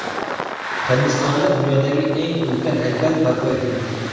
Hindistonda dunyodagi eng ulkan haykal barpo etilmoqda .